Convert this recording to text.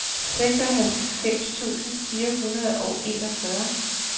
seksoghalvfems tusind fire hundrede og enogfyrre